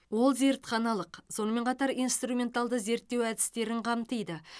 ол зертханалық сонымен қатар инструменталды зерттеу әдістерін қамтиды